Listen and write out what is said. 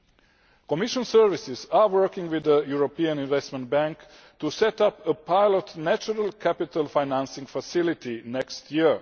The Commission is working with the European Investment Bank to set up a pilot Natural Capital Financing Facility next year.